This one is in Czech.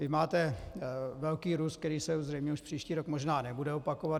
Vy máte velký růst, který se zřejmě už příští rok možná nebude opakovat.